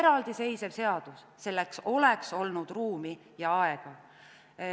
Eraldiseisev seadus – selleks oleks olnud ruumi ja aega.